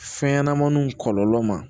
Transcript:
Fɛn ɲanamaniw kɔlɔlɔ ma